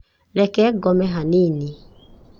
Reke ngome hanini.